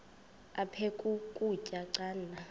aphek ukutya canda